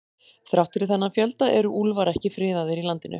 Þrátt fyrir þennan fjölda eru úlfar ekki friðaðir í landinu.